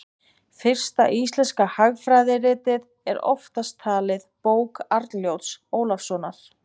fyrsta íslenska hagfræðiritið er oftast talið bók arnljóts ólafssonar